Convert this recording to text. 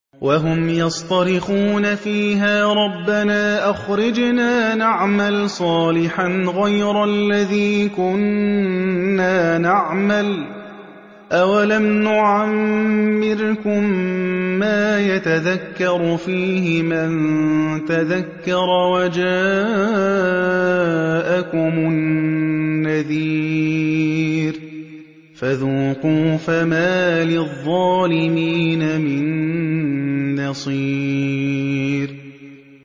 وَهُمْ يَصْطَرِخُونَ فِيهَا رَبَّنَا أَخْرِجْنَا نَعْمَلْ صَالِحًا غَيْرَ الَّذِي كُنَّا نَعْمَلُ ۚ أَوَلَمْ نُعَمِّرْكُم مَّا يَتَذَكَّرُ فِيهِ مَن تَذَكَّرَ وَجَاءَكُمُ النَّذِيرُ ۖ فَذُوقُوا فَمَا لِلظَّالِمِينَ مِن نَّصِيرٍ